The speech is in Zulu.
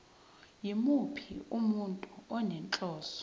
yimuphi umuntu onenhloso